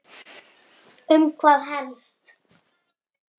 Þinn Rútur.